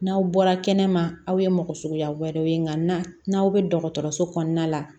N'aw bɔra kɛnɛ ma aw ye mɔgɔ suguya wɛrɛw ye nka n'aw bɛ dɔgɔtɔrɔso kɔnɔna la